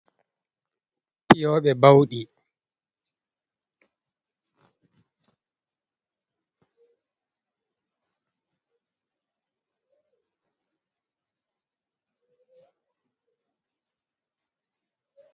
fiyooɓe bawɗi